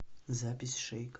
запись шейк